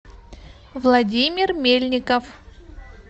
владимир мельников